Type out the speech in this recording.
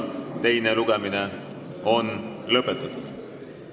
Teine lugemine on lõpetatud.